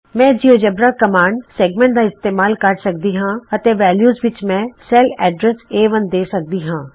ਮੈਂ GeoGebra command ਰੇਖਾਖੰਡ ਦਾ ਇਸਤੇਮਾਲ ਕਰ ਸਕਦੀ ਹਾਂ ਅਤੇ ਵੇਲਯੂ ਵਿਚ ਮੈਂ ਸੈਲ ਐਡਰਸ ਏ1 ਦੇ ਸਕਦੀ ਹਾਂ